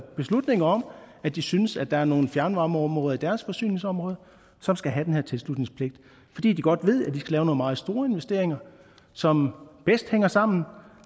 beslutninger om at de synes der er nogle fjernvarmeområder i deres forsyningsområde som skal have den her tilslutningspligt fordi de godt ved at de skal lave nogle meget store investeringer som bedst hænger sammen